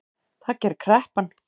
Það gerir kreppan